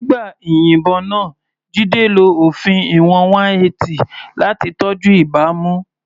Nígbà ìyìnbọn náà, Jide lo òfin ìwọ̀n 180 láti tọ́jú ìbámu.